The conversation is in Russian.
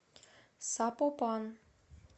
сапопан